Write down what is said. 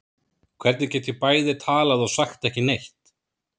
Hvernig get ég bæði talað og sagt ekki neitt?